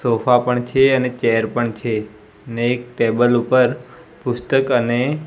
sofa પણ છે અને ચેર પણ છે ને એક ટેબલ ઉપર પુસ્તક અને--